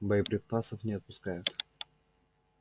боеприпасов не отпускают